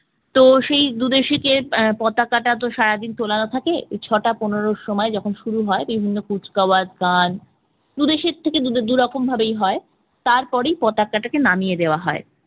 তো সেই দু দেশকে আহ পতাকাটা তো সারাদিন তোলানো থাকে ছটা পনেরো সময় যখন শুরু হয় বিভিন্ন কুচকাওয়াজ গান দু দেশ থেকে দু'রকম ভাবেই হয় তারপরেই পতাকাটাকে নামিয়ে দেওয়া হয়